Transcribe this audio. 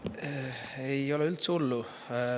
Ei ole üldse hullu.